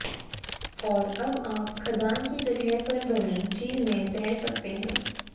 और अब आप खदान की जगह पर बने झील में तैर सकते हैं